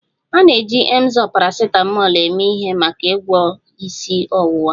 A na-eji Emzor paracetamol eme ihe maka ịgwọ isi ọwụwa